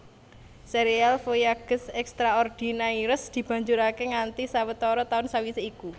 Sérial Voyages extraordinaires dibanjuraké nganti sawetara taun sawisé iku